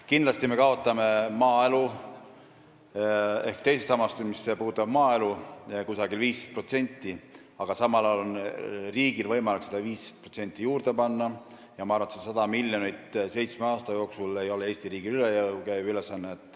Kindlasti me kaotame teisest sambast, mis puudutab maaelu, umbes 15%, aga samal ajal on riigil võimalik see 15% juurde panna ja see 100 miljonit eurot seitsme aasta jooksul ei ole Eesti riigile üle jõu käiv ülesanne.